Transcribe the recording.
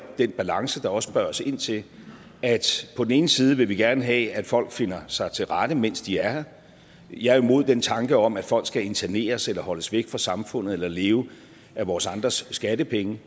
den balance der også spørges ind til at på den ene side vil vi gerne have at folk finder sig til rette mens de er her jeg er imod den tanke om at folk skal interneres eller holdes væk fra samfundet eller leve af vores andres skattepenge